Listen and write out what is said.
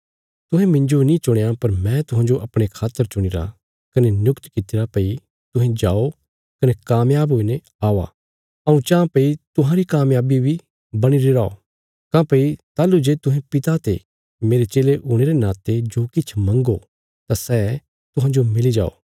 तुहें मिन्जो नीं चुणया पर मैं तुहांजो अपणे खातर चुणीरा कने नियुक्त कित्तिरा भई तुहें जाओ कने कामयाब हुईने औआ हऊँ चांह भई तुहांरी कमयाबी बणीरी रौ काँह्भई ताहलूं जे तुहें पिता ते मेरे चेले हुणे रे नाते जो किछ मंग्गो तां सै तुहांजो मिली जाओ